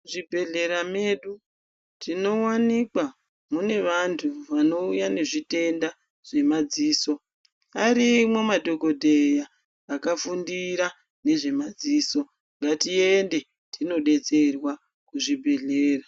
Muzvibhedhlera mwedu tinowanikwa mune vantu vanouya nezvitenda zvemadziso arimwo madhokodheya akafundira nezvemadziso ngatiende tinodetserwa kuzvibhedhlera.